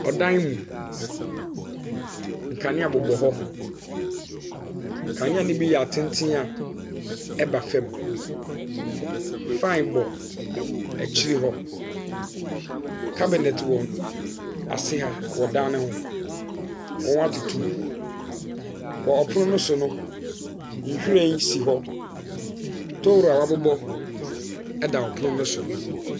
Ɔdan mu, nkanea bobɔ hɔ, kanea ne bi yɛ atenten a ɛda fam, fan bɔ s akyi hɔ. cabinet wɔ ase ha wɔ dan ne ho, wɔatotomu. Wɔ ɔpono ne so no, nhyiren si hɔ. tohuro a wɔabobɔ ɛda pono no so.